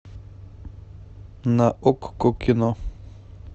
на окко кино